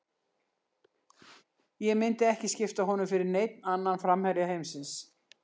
Ég myndi ekki skipta honum fyrir neinn annan framherja heimsins.